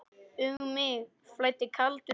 Um mig flæddi kaldur bjór.